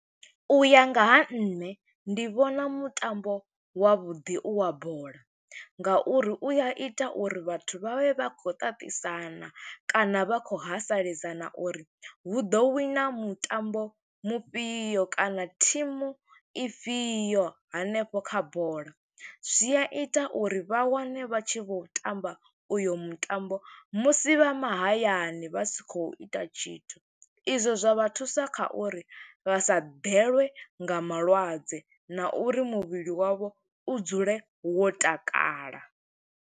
U ya nga ha nṋe, ndi vhona mutambo wavhuḓi u wa bola, nga uri u ya ita uri vhathu vha vhe vha khou ṱaṱisana kana vha khou haseledzana uri hu ḓo wina mutambo mufhio, kana thimu ifhio hanefho kha bola. Zwi a ita uri vha wane vha tshi vho tamba uyo mutambo, musi vha mahayani, vha si khou ita tshithu. I zwo zwa vha thusa kha uri vha sa ḓelwe nga malwadze, na uri muvhili wavho u dzule wo takala.